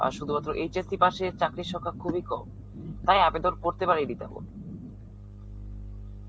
আর শুধুমাত্র HSC পাশের চাকরির সংখা খুবই কম. তাই আবেদন করতে পারিনি তেমন.